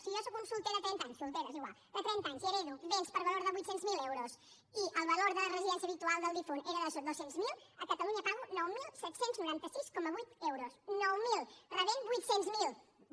si jo sóc un solter de trenta anys soltera és igual i hereto béns per valor de vuit cents miler euros i el valor de la residència habitual del difunt era de dos cents miler a catalunya pago nou mil set cents i noranta sis coma vuit euros nou mil rebent ne vuit cents miler